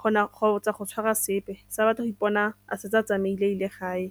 kgotsa go tshwara sepe se a batla go ipona a setse a tsamaile a ile gae.